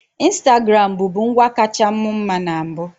Instagram bụbu ngwa kacha mu mma na mbụ.